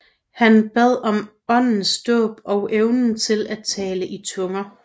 Han bad om Åndens dåb og evnen til at tale i tunger